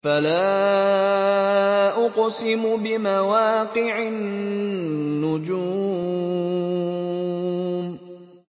۞ فَلَا أُقْسِمُ بِمَوَاقِعِ النُّجُومِ